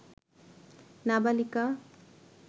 নাবালিকা